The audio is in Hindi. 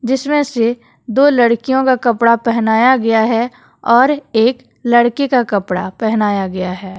जिसमें से दो लड़कियों का कपड़ा पहनाया गया है और एक लड़के का कपड़ा पहनाया गया है।